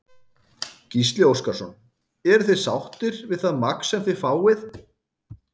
Gísli Óskarsson: Eruð þið sáttir við það magn sem þið fáið?